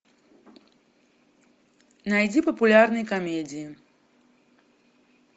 найди популярные комедии